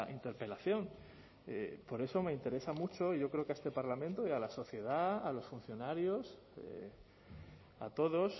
interpelación por eso me interesa mucho y yo creo que a este parlamento y a la sociedad a los funcionarios a todos